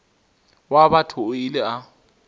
wa batho o ile a